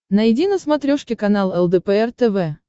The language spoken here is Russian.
найди на смотрешке канал лдпр тв